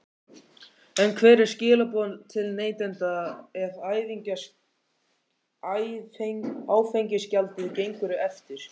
En hver eru skilaboð til neytenda ef áfengisgjaldið gengur eftir?